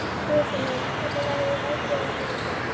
Guðfinna, hvernig verður veðrið á morgun?